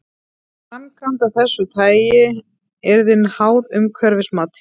Framkvæmd af þessu tagi yrði háð umhverfismati.